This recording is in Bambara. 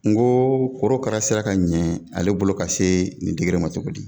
N ko korokara sera ka ɲɛ ale bolo ka se nin ma cogo di